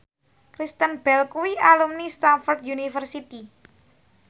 Kristen Bell kuwi alumni Stamford University